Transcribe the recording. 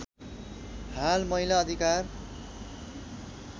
हाल महिला अधिकार